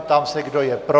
Ptám se, kdo je pro.